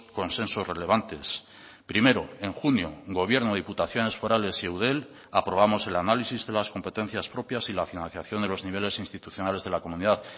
consensos relevantes primero en junio gobierno diputaciones forales y eudel aprobamos el análisis de las competencias propias y la financiación de los niveles institucionales de la comunidad